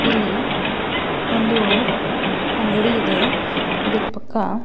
ಇಲ್ಲಿ ಒಂದು ಅಂಗಡಿ ಇದೆ ಇದರ ಪಕ್ಕ--